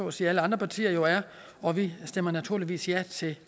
at sige alle andre partier jo er og vi stemmer naturligvis ja til